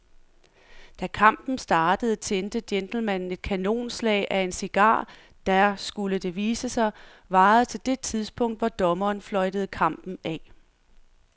Da kampen startede tændte gentlemanen et kanonslag af en cigar, der, skulle det vise sig, varede til det tidspunkt, hvor dommeren fløjtede kampen af.